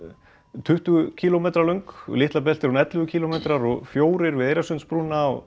um tuttugu kílómetra löng við Litlabelti er hún ellefu kílómetrar og fjórir við